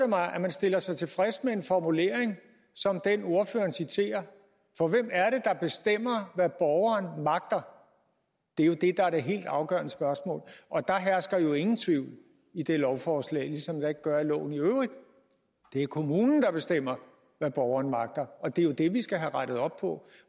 mig at man stiller sig tilfreds med en formulering som den ordføreren citerer for hvem er det der bestemmer hvad borgeren magter det er det der er det helt afgørende spørgsmål der hersker jo ingen tvivl i det lovforslag ligesom der ikke gør loven i øvrigt det er kommunen der bestemmer hvad borgeren magter og det er det vi skal have rettet op på